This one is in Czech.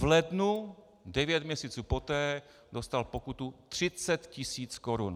V lednu, devět měsíců poté, dostal pokutu 30 tisíc korun.